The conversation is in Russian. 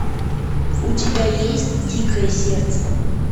у тебя есть дикое сердце